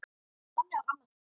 Þannig var amma Hrefna.